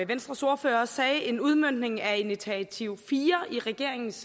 venstres ordfører også sagde en udmøntning af initiativ nummer fire i regeringens